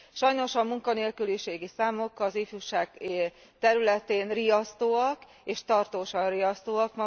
Sajnos a munkanélküliségi számok az ifjúság területén riasztóak, és tartósan riasztóak.